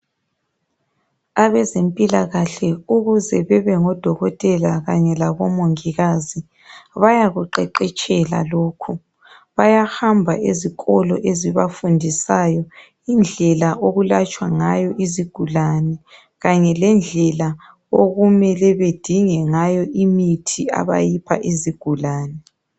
Abezempilakahle ukuze bebengo Dokotela kanye labo Mongikazi bayakuqeqetshela lokhu. Bayahamba ezikolo ezibafundisayo indlela okulatshwa ngayo izigulane. Kanye lendlela okumele bedinge ngayo imithi abayipha izigulane.